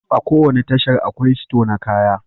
A ko wani tashar, akwai sito na kaya